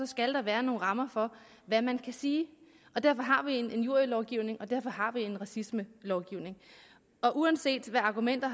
skal der være nogle rammer for hvad man kan sige derfor har vi en injurielovgivnig og derfor har vi en racismelovgivning og uanset hvad argumentet